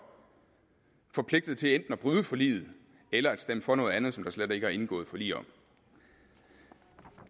forpligtet til enten at bryde forliget eller at stemme for noget andet som der slet ikke er indgået forlig om